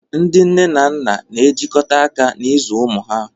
Ndị nne na nna ga-ejikọta aka n'ịzụ ụmụ ha